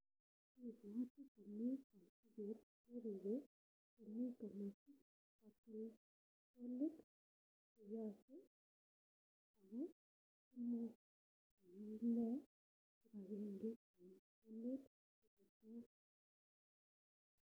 Reading the question instead of answering